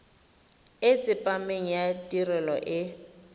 e tsepameng ya tirelo e